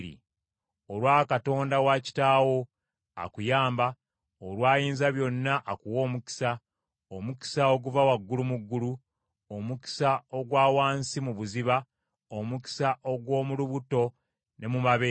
olwa Katonda wa kitaawo, akuyamba, olwa Ayinzabyonna akuwa omukisa, omukisa oguva waggulu mu ggulu, omukisa ogwa wansi mu buziba, omukisa ogw’omu lubuto ne mu mabeere.